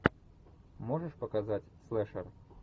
можешь показать слэшер